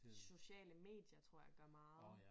Sociale medier tror jeg gør meget